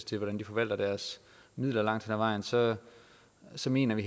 til hvordan de forvalter deres midler langt ad vejen så så mener vi